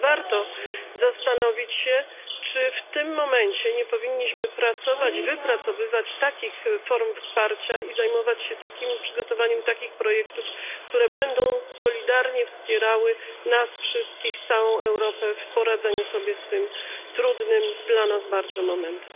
A więc warto zastanowić się, czy w tym momencie nie powinniśmy pracować, wypracowywać takich form wsparcia i zajmować się przygotowaniem takich projektów, które będą solidarnie wspierały nas wszystkich, całą Europę, w poradzeniu sobie z tym bardzo trudnym dla nas momentem.